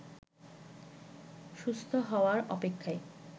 সুস্থ হওয়ার অপেক্ষায়